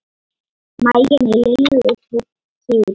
Maginn í Lillu tók kipp.